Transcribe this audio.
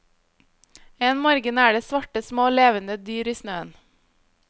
En morgen er det svarte, små, levende dyr i snøen.